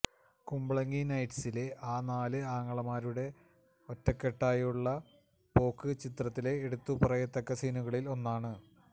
കുമ്പളങ്ങി നൈറ്റ്സിലെ ആ നാല് ആങ്ങളമാരുടെ ഒറ്റക്കെട്ടായുള്ള പോക്ക് ചിത്രത്തിലെ എടുത്തുപറയത്തക്ക സീനുകളിൽ ഒന്നാണ്